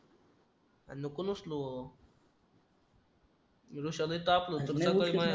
नको ना उचलू